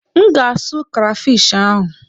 M ga-asụ krafish ahụ.